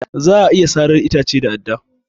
Za a iya sarar itace da adda